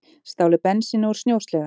Stálu bensíni úr snjósleða